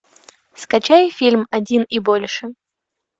скачай фильм один и больше